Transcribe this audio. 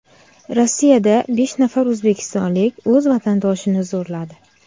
Rossiyada besh nafar o‘zbekistonlik o‘z vatandoshini zo‘rladi.